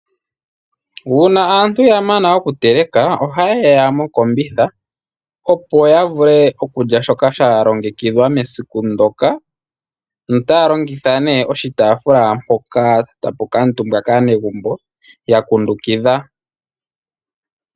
Uuna aantu ya mana okuteleka ohayeya mokombitha opo ya vule okulya shoka sha longekidhwa mesiku ndoka notaa longitha nee oshitaafula mpoka tapukuutumbwa kaanegumbo yakundukidha.